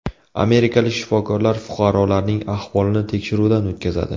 Amerikalik shifokorlar fuqarolarning ahvolini tekshiruvdan o‘tkazadi.